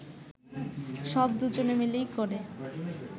সব দুজনে মিলেই করে